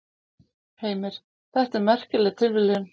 Heimir: Þetta er merkileg tilviljun?